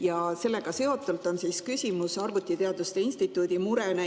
Ja sellega seotult on küsimus arvutiteaduste instituudi mure kohta.